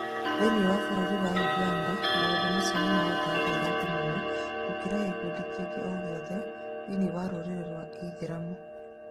Thĩinĩĩ wa bũrũri wa ũganda maũndũmacio nĩmahotaga airĩtu mũno gũkĩra gĩkundĩ kingĩ o gĩothe thĩinĩĩ wa rũrĩrĩ rwa ithĩramu.